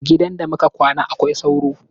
Gidan da muka kwana akwai sauro.